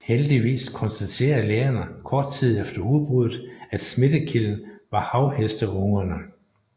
Heldigvis konstaterede lægerne kort tid efter udbrudet at smittekilden var havhesteungerne